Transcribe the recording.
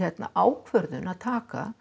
ákvörðun að taka